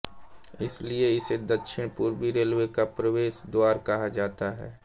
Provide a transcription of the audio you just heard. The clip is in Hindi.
इसलिए इसे दक्षिण पूर्वी रेलवे का प्रवेश द्वार कहा जाता है